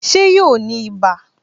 Ṣé yóò ní ibà